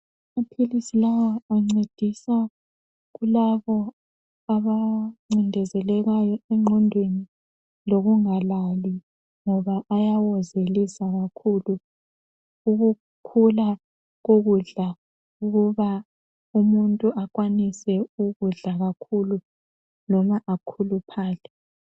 Amaphilisi lawa ancedisa kulabo ,abancindezelekayo engqondweni lokungalali ,ngoba ayawozelisa kakhulu. Ukukhula kokudla kuba umuntu akwanise ukudla kakhulu loba akhuluphale.